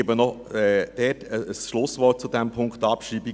Noch ein Schlusswort zu diesem Punkt der Abschreibung: